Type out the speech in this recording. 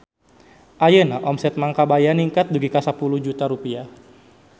Ayeuna omset Mang Kabayan ningkat dugi ka 10 juta rupiah